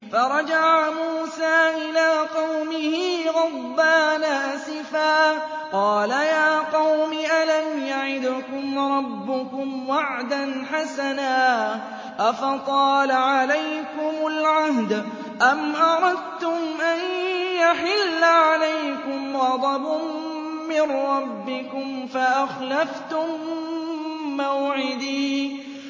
فَرَجَعَ مُوسَىٰ إِلَىٰ قَوْمِهِ غَضْبَانَ أَسِفًا ۚ قَالَ يَا قَوْمِ أَلَمْ يَعِدْكُمْ رَبُّكُمْ وَعْدًا حَسَنًا ۚ أَفَطَالَ عَلَيْكُمُ الْعَهْدُ أَمْ أَرَدتُّمْ أَن يَحِلَّ عَلَيْكُمْ غَضَبٌ مِّن رَّبِّكُمْ فَأَخْلَفْتُم مَّوْعِدِي